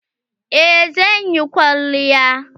Eh zan yi kwalliya.